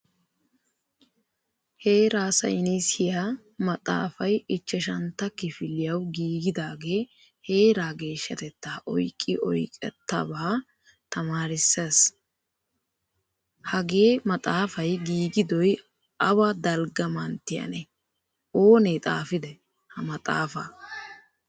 Heera saynisiya maxaafay ichchashshantta kifiliyawu giigidage heeraa geeshshatetta oyqqi oyqqettaba tamaarisees. Hagee maxaafay giigidoy awa dalgga manttiyanee? Oonee xaafiday ha maxaafaa?